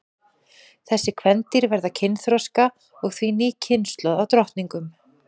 þessi kvendýr verða kynþroska og því ný kynslóð af drottningum